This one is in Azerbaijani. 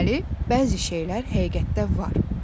Deməli, bəzi şeylər həqiqətdə var.